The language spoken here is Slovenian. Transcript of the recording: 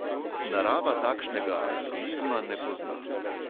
Narava takšnega altruizma ne pozna.